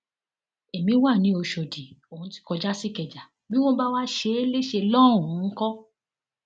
èmi wa ni ọṣọdì òun ti kọjá sìkẹjà bí wọn bá wáá ṣe é léṣe lọhùnún ńkọ